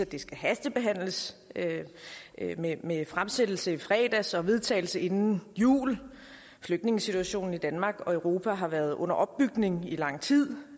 det skal hastebehandles med fremsættelse i fredags og vedtagelse inden jul flygtningesituationen i danmark og europa har været under opbygning i lang tid